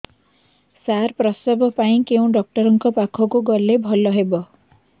ସାର ପ୍ରସବ ପାଇଁ କେଉଁ ଡକ୍ଟର ଙ୍କ ପାଖକୁ ଗଲେ ଭଲ ହେବ